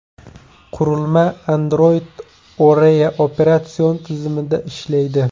Qurilma Android Oreo operatsion tizimida ishlaydi.